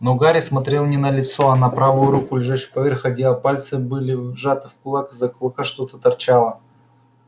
но гарри смотрел не на лицо а на правую руку лежащую поверх одеяла пальцы были сжаты в кулак из-за кулака что-то торчало